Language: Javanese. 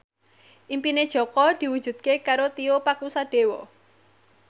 impine Jaka diwujudke karo Tio Pakusadewo